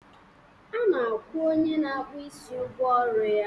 A na-akwụ onye na-akpụ isi ụgwọ ọrụ ya